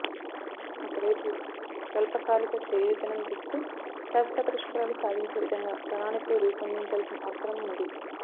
ఒకవైపు స్వల్పకాలిక చేయూతనం దిస్తూ శాశ్వత పరిష్కారాలు సాధించే విధంగా ప్రణాళి కలు రూపొం దించాల్సిన అవసరం ఉంది